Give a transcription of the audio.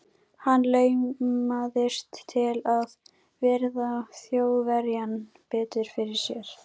Hann laumaðist til að virða Þjóðverjann betur fyrir sér.